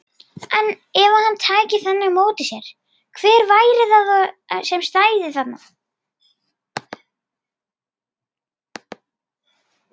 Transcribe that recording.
En ef hann tæki þannig á móti sér, hver væri það þá sem stæði þarna?